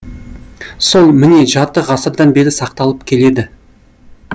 сол міне жарты ғасырдан бері сақталып келеді